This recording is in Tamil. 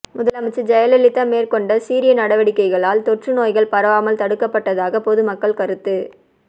முதலமைச்சர் ஜெயலலிதா மேற்கொண்ட சீரிய நடவடிக்கைகளால் தொற்றுநோய்கள் பரவாமல் தடுக்கப்பட்டதாக பொதுமக்கள் கருத்து